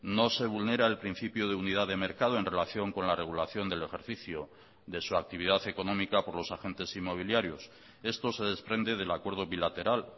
no se vulnera el principio de unidad de mercado en relación con la regulación del ejercicio de su actividad económica por los agentes inmobiliarios esto se desprende del acuerdo bilateral